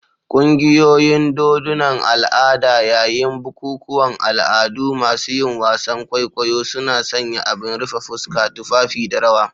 Ƙungiyoyin dodunan al' ada, yayin bukukuwan al'adu, masu yin wasan kwaikwayo suna sanya abin rufe fuska, tufafi, da rawa.